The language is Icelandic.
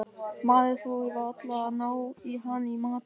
Maður þorir varla að ná í hann í matinn.